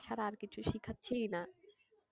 ছাড়া আর কিছু শেখাচ্ছিই না।